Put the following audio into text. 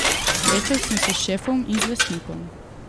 Srečal sem se s šefom in z lastnikom.